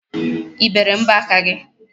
I bere mbọaka gị?